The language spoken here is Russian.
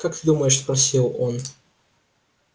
как ты думаешь спросил он